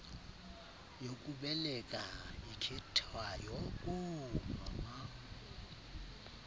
yokubeleka ikhethwayo koomama